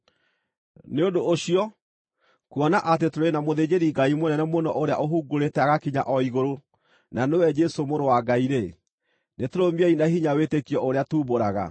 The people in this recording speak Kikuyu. Nĩ ũndũ ũcio, kuona atĩ tũrĩ na mũthĩnjĩri-Ngai mũnene mũno ũrĩa ũhungurĩte agakinya o igũrũ, na nĩwe Jesũ mũrũ wa Ngai-rĩ, nĩtũrũmiei na hinya wĩtĩkio ũrĩa tuumbũraga.